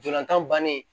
Ntolantan bannen